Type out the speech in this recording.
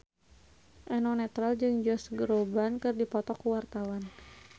Eno Netral jeung Josh Groban keur dipoto ku wartawan